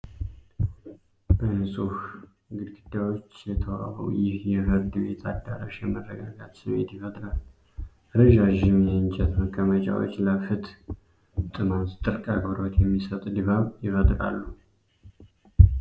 በንጹህ ግድግዳዎች የተዋበው ይህ የፍርድ ቤት አዳራሽ የመረጋጋት ስሜት ይፈጥራል። ረዣዥም የእንጨት መቀመጫዎች ለፍትህ ጥማት ጥልቅ አክብሮት የሚሰጥ ድባብ ይፈጥራሉ።